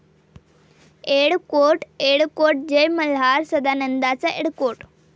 येळ कोट येळकोट जय मल्हार'... 'सदांनंदाचा येळकोट'